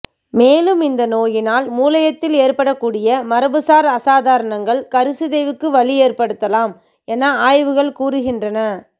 மேலும் இந்த நோயினால் முளையத்தில் ஏற்படக்கூடிய மரபுசார் அசாதாரணங்கள் கருச்சிதைவுக்கு வழி ஏற்படுத்தலாம் என ஆய்வுகள் கூறுகின்றன